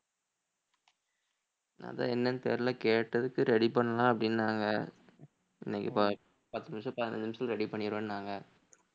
அதான் என்னன்னு தெரியலை கேட்டதுக்கு ready பண்ணலாம் அப்படின்னாங்க இன்னைக்கு பத்~ பத்து நிமிஷம் பதினஞ்சு நிமிஷத்துல ready பண்ணிருவேன்னாங்க